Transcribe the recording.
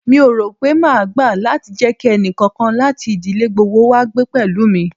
Mi ò rò pé máa gbà láti jẹ kí ẹnì kankan láti ìdílé gbogbo wá gbé pẹ̀lú mi.